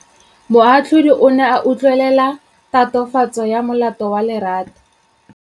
Moatlhodi o ne a utlwelela tatofatsô ya molato wa Lerato.